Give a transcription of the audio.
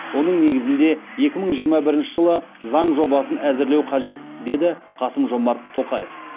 оның негізінде екі мың жиырма бірінші жылы заң жобасын әзірлеу қажет деді қасым жомарт тоқаев